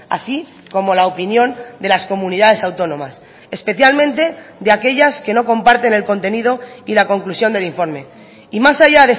así como la opinión de las comunidades autónomas especialmente de aquellas que no comparten el contenido y la conclusión del informe y más allá